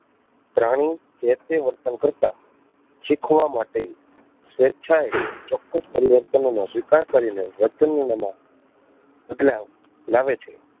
પ્રાણી જે તે વર્તન કરતાં શીખવા માટે સ્વેચ્છા એ ચોક્કસ પરિવર્તનો નો સ્વીકાર કરી ને વર્તન માં બદલાવ લાવે છે.